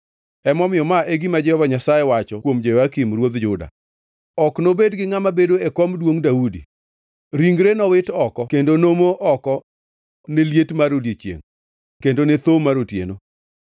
Emomiyo, ma e gima Jehova Nyasaye wacho kuom Jehoyakim ruodh Juda: Ok nobed gi ngʼama bedo e kom duongʼ Daudi; ringre nowit oko kendo nomo oko ne liet mar odiechiengʼ kendo ne thoo mar otieno.